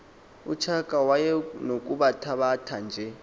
utshaka wayenokubathabatha nje